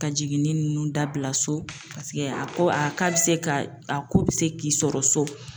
Ka jiginni ninnu dabila so a ko a bɛ se ka a ko bɛ se k'i sɔrɔ so.